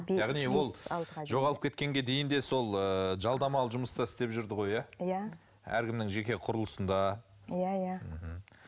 яғни ол жоғалып кеткенге дейін де сол ыыы жалдамалы жұмыста істеп жүрді ғой иә иә әркімнің жеке құрылысында иә иә мхм